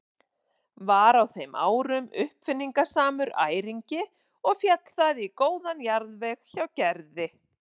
Var á þeim árum uppáfinningasamur æringi og féll það í góðan jarðveg hjá Gerði.